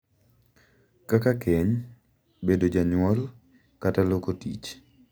Kaka keny, bedo janyuol, kata loko tich.